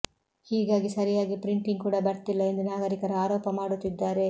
ಹೀಗಾಗಿ ಸರಿಯಾಗಿ ಪ್ರಿಂಟಿಂಗ್ ಕೂಡ ಬರ್ತಿಲ್ಲ ಎಂದು ನಾಗರಿಕರು ಆರೋಪ ಮಾಡುತ್ತಿದ್ದಾರೆ